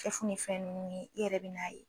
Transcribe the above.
fɛn ninnu ye e yɛrɛ bɛ b'a ye